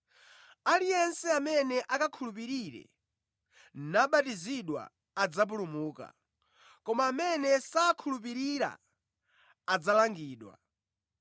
Aliyense amene akakhulupirire nabatizidwa adzapulumuka, koma amene sakakhulupirira adzalangidwa.